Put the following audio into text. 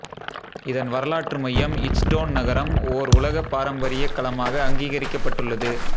இதன் வரலாற்று மையம் இச்ட்டோன் நகரம் ஓர் உலகப் பாரம்பரியக் களமாக அங்கீகரிக்கப்பட்டுள்ளது